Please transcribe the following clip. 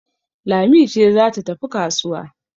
Lami ce za ta tafi kasuwa